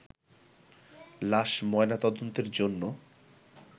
লাশ ময়নাতদন্তের জন্য